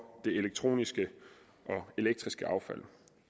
det elektroniske og elektriske affald